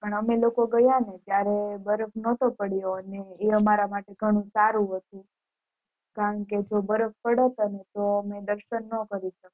પણ અમે લોકો ગયા હતા ને ત્યારે બરફ નોટો પડ્યો ને એ અમારાં માટે ઘણું સારું ઘણું હતું કારણ કે જો બરફ પડત ને તો અમે દર્શન નો કરી શકત